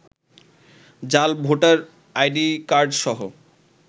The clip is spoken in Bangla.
জাল ভোটার আইডিকার্ডসহ